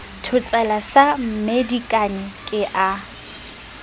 thotsela sa mmedikane ke a